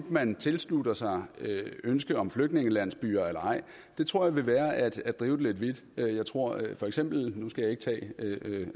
man tilslutter sig ønsket om flygtningelandsbyer eller ej tror jeg vil være at at drive det vidt jeg tror for eksempel nu skal jeg ikke tage